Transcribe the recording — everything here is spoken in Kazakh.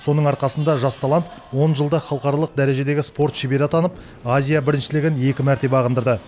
соның арқасында жас талант он жылда халықаралық дәрежедегі спорт шебері атанып азия біріншілігін екі мәрте бағындырды